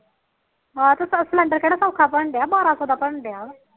ਆਹੋ ਫਿਰ ਸਿਲੰਡਰ ਕਿਹੜਾ ਸੋਖਾ ਭਰਨਡ਼ਿਆ ਬਾਰਾ ਸੋ ਦਾ ਭਰਨ ਡਿਆ